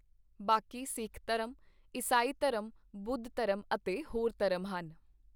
ਬਾਕੀ ਸਿੱਖ ਧਰਮ, ਈਸਾਈ ਧਰਮ, ਬੁੱਧ ਧਰਮ ਅਤੇ ਹੋਰ ਧਰਮ ਹਨ।